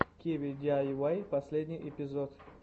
киви диайвай последний эпизод